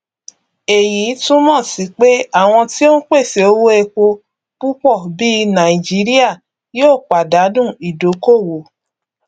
èyí túnmọ sí pé àwọn tí ó n pèsè owó epo púpọ bí nàìjíríà yòó pàdánù ìdókòwò